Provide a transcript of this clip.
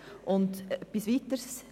Es sind somit kleine Zahlen.